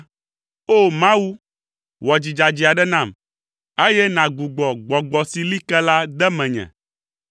O! Mawu, wɔ dzi dzadzɛ aɖe nam, eye nàgbugbɔ gbɔgbɔ si li ke la de menye.